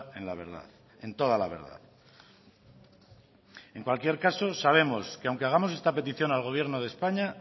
en la verdad en toda la verdad en cualquier caso sabemos que aunque hagamos esta petición al gobierno de españa